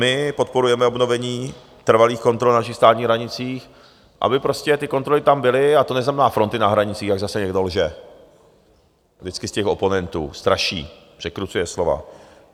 My podporujeme obnovení trvalých kontrol na našich státních hranicích, aby prostě ty kontroly tam byly, a to neznamená fronty na hranicích, jak zase někdo lže - vždycky z těch oponentů straší, překrucuje slova.